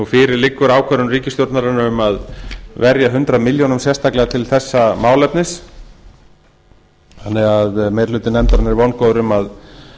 fyrir liggur ákvörðun ríkisstjórnarinnar um að verja hundrað milljónir sérstaklega til þessa málefnis þannig að meiri hluti nefndarinnar er vongóður um